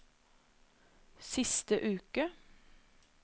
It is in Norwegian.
siste uke